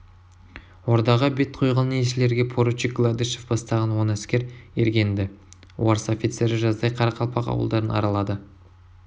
ордаға бет қойған елшілерге поручик гладышев бастаған он әскер ерген-ді орыс офицері жаздай қарақалпақ ауылдарын аралады